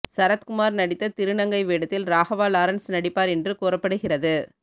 சரத்குமார் நடித்த திருநங்கை வேடத்தில் ராகவா லாரன்ஸ் நடிப்பார் என்று கூறப்படுகிறது